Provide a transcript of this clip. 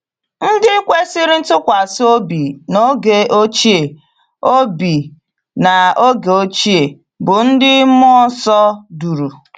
Ndị kwesịrị ntụkwasị obi n’oge ochie obi n’oge ochie, bụ́ ndị mmụọ nsọ duru